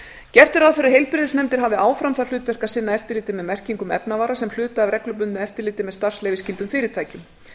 gert er ráð fyrir að heilbrigðisnefndir hafi áfram það hlutverk að sinna eftirliti með merkingum efnavara sem hluta af reglubundnu eftirliti með starfsleyfisskyldum fyrirtækjum